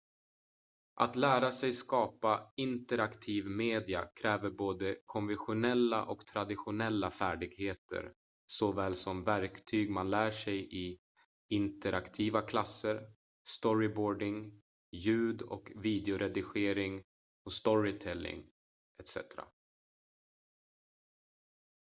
att lära sig skapa interaktiv media kräver både konventionella och traditionella färdigheter såväl som verktyg man lär sig i interaktiva klasser storyboarding ljud- och videoredigering storytelling etc.